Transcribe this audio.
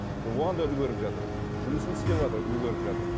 ы оған да үлгеріп жатыр жұмысын да істеватыр үлгеріп жатыр